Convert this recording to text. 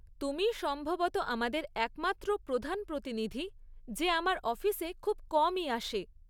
তুমিই সম্ভবত আমাদের একমাত্র প্রধান প্রতিনিধি যে আমার অফিসে খুব কমই আসে।